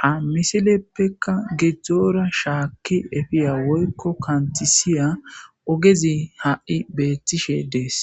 ha misileppekka gidzdzoora shaakki efiya woykko kantisiya ogezi ha7i beettishe dees